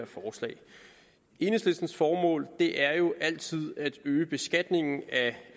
forslag enhedslistens formål er jo altid at øge beskatningen af